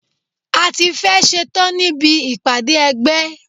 A tí fẹ́ ẹ̀ ṣetán níbi ìpàdé ẹgbẹ́.